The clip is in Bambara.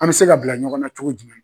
An bɛ se ka bila ɲɔgɔnna cogo jumɛn?